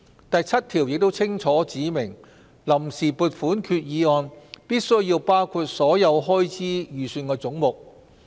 "第7條亦清楚指明，臨時撥款決議案必需包括所有開支預算總目。